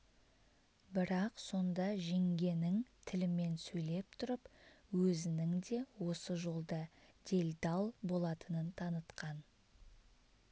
бірақ сонда жеңгенің тілімен сөйлеп тұрып өзінің де осы жолда делдал болатынын танытқан